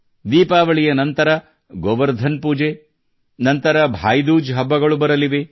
ದೀಪಾವಳಿಯ ನಂತರ ಗೋವರ್ಧನ್ ಪೂಜೆ ನಂತರ ಭಾಯಿದೂಜ್ ಹಬ್ಬಗಳು ಬರಲಿವೆ